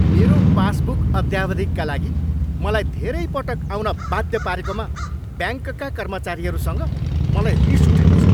मेरो पासबुक अद्यावधिकका लागि मलाई धेरै पटक आउन बाध्य पारेकोमा ब्याङ्कका कर्मचारीहरूसँग मलाई रिस उठेको छ।